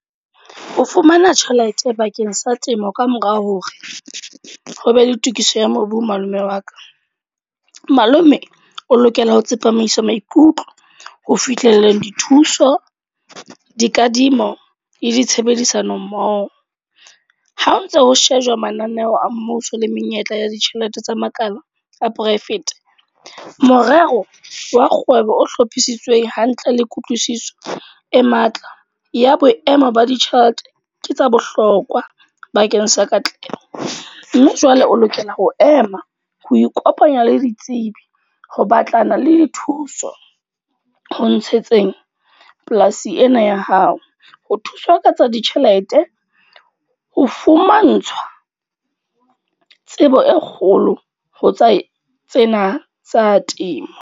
Ho fumana tjhelete bakeng sa temo kamora hore, ho be le tokiso ya mobu malome wa ka. Malome o lokela ho tsepamisa maikutlo ho fihlelleng dithuso, dikadimo le di tshebedisano mmoho. Ha o ntso ho shejwa mananeo a mmuso le menyetla ya ditjhelete tsa makala, a private. Morero wa kgwebo o hlophisitsweng hantle le kutlwisiso e matla, ya boemo ba ditjhelete. Ke tsa bohlokwa bakeng sa katleho. Mme jwale o lokela ho ema ho ikopanya le ditsebi ho batlana le thuso ho ntshetsa teng polasi ena ya hao. Ho thuswa ka tsa ditjhelete, ho fumantshwa tsebo e kgolo ho tsa tsena tsa temo.